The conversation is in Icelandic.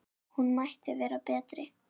Hún mætti vera betri.